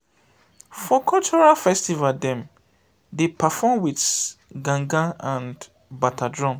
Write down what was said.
for cultural festival dem dey perform wit gangan and and bata drum.